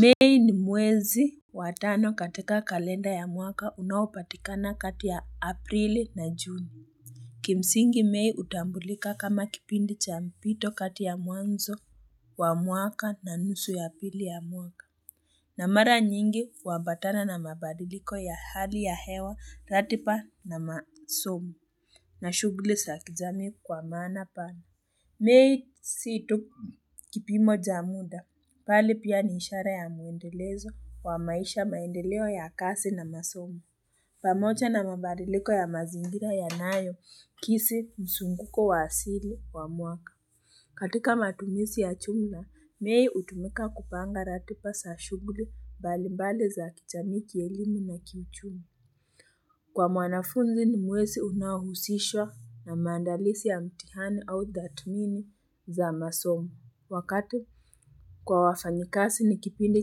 Mei ni mwezi Watano katika kalenda ya mwaka, unaopatikana kati ya aprili na juni. Kimsingi mei hutambulika kama kipindi cha mpito kati ya mwanzo wa mwaka, na nusu ya pili ya mwaka. Na mara nyingi huambatana na mabadiliko ya hali ya hewa tatipa na masomu na shuguli za kijamii kwa maana pala mei si tu kipimo cha muda, bali pia ni ishara ya muendelezo wa maisha, maendeleo ya kasi na masomo, pamoja na mabadiliko ya mazingira yanayoakisi mzunguko wa asili wa mwaka. Katika matumizi ya jumla, mei hutumika kupanga ratiba za shughuli mbalimbali za kijamii, kielimu na kichumi. Kwa mwanafunzi ni mwezi unahusishwa na mandalizi ya mitihani au tathmini za masomu. Wakati kwa wafanyikazi ni kipindi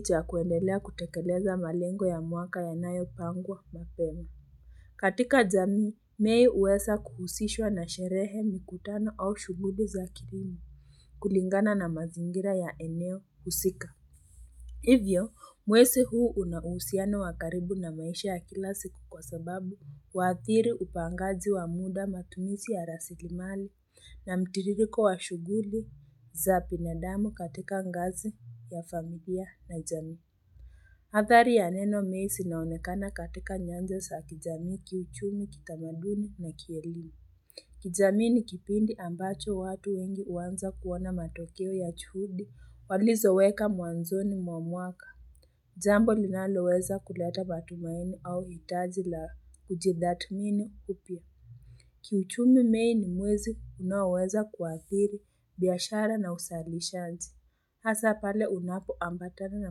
cha kuendelea kutekeleza malengo ya mwaka yanayopangwa mapema. Katika jamii, mei huweza kuhusishwa na sherehe mikutano au shuguli za kidini kulingana na mazingira ya eneo husika. Hivyo, mwezi huu una uhusiano wa karibu na maisha ya kila siku kwa sababu waathiri upangaji wa muda, matumizi ya rasilimali na mtiririko wa shuguli za binadamu katika ngazi ya familia na jamii. Athari ya neno mei zinaonekana katika nyanja za kijamii, kiuchumi kitamaduni na kielimu. Kijamii ni kipindi ambacho watu wengi huanza kuona matokeo ya juhudi walizoweka mwanzoni mwa mwaka. Jambo linaloweza kuleta matumaini au hitaji la kujidhatmini upya. Kiuchumi mei ni mwezi unaoweza kuathiri biashara na uzalishaji. Hasa pale unapoambatana na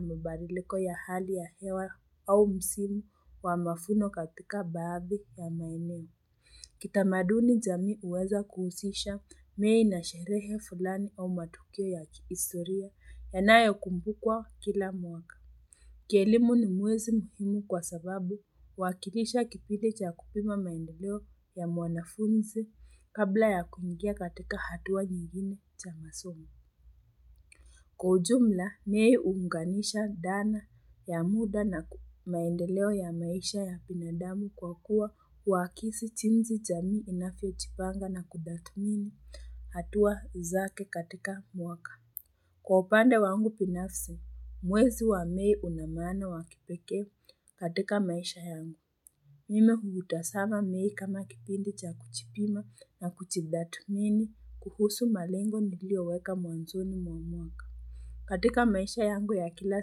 mabadiliko ya hali ya hewa au msimu wa mavuno katika baadhi ya maeneo. Kitamaduni jamii huweza kuhusisha mei na sherehe fulani au matukio ya kihistoria, yanayokumbukwa kila mwaka. Kielimu ni mwezi muhimu kwa sababu huwakilisha kipindi cha kupima maendeleo ya mwanafunzi kabla ya kuingia katika hatua nyingine cha masomo. Kwa ujumla, mei huunganisha dhana ya muda na maendeleo ya maisha ya binadamu kwa kuwa huakisi jinsi jamii inavyojipanga na kutathmini hatua zake katika mwaka. Kwa upande wangu binafsi, mwezi wa mei una maana ya kipeke katika maisha yangu. Mimi huutazama mei kama kipindi cha kujipima na kujitathmini kuhusu malengo niliyoweka mwanzoni mwa mwaka. Katika maisha yangu ya kila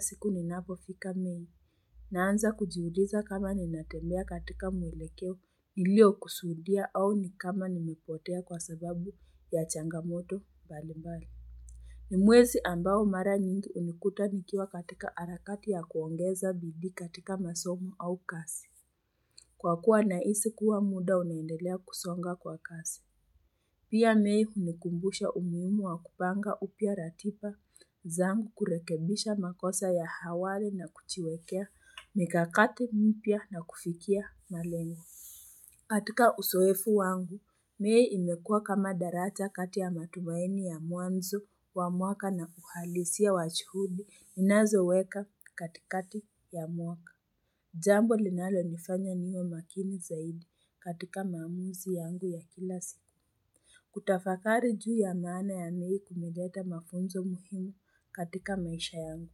siku ninapofika mei. Naanza kujiuliza kama ninatembea katika muelekeo niliyokusudia au nikama nimepotea kwa sababu ya changamoto mbalimbali. Ni mwezi ambao mara nyingi hunikuta nikiwa katika harakati ya kuongeza bidii katika masomo au kazi. Kwa kuwa nahisi kuwa muda unaendelea kusonga kwa kasi. Pia mei hunikumbusha umuhimu wa kupanga upya ratiba zangu, kurekebisha makosa ya hawali na kujiwekea mikakati mipya na kufikia malengo. Katika uzoefu wangu, mei imekuwa kama daraja kati ya matumaini ya mwanzo wa mwaka na uhalisia wa juhudi ninazoweka katikati ya mwaka. Jambo linalonifanya niwe makini zaidi katika maamuzi yangu ya kila siku. Kutafakari juu ya maana ya mei kumeleta mafunzo muhimu katika maisha yangu.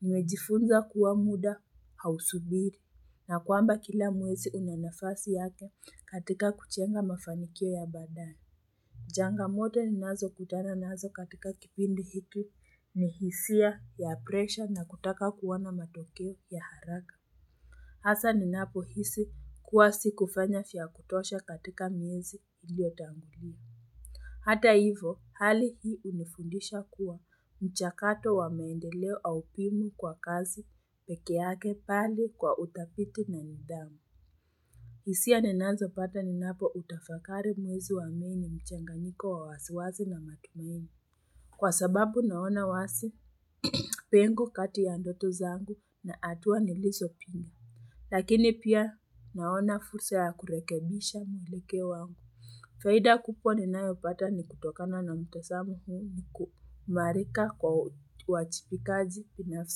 Nimejifunza kuwa muda hausubiri na kwamba kila mwezi una nafasi yake katika kujenga mafanikio ya baadaye. Changamoto ninazokutana nazo katika kipindi hiki ni hisia ya presha na kutaka kuwa na matokeo ya haraka Hasa ninapohisi kuwa sikufanya vya kutosha katika miezi iliyotangulia. Hata hivyo, hali hii hunifundisha kuwa mchakato wa maendeleo haupimwi kwa kazi peke yake, bali kwa utafiti na nidhamu. Hisia ninazopata ninapoutafakari mwezi wa mei mchanganyiko wa wasiwasi na matumaini. Kwa sababu naona wazi pengo kati ya ndoto zangu na hatua nilizopiga. Lakini pia naona fursa ya kurekebisha mwelekeo wangu. Faida kubwa ninayopata ni kutokana na mtazamo huu, ni kuimarika kwa uwajibikaji binafsi.